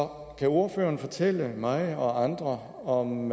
kan ordføreren ikke fortælle mig og andre om